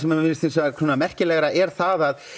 mér finnst svona merkilegra er það að